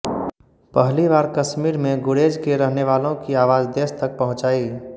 पहली बार कश्मीर में गुरेज़ के रहने वालों की आवाज़ देश तक पहुंचाई